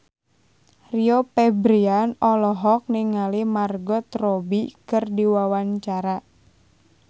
Rio Febrian olohok ningali Margot Robbie keur diwawancara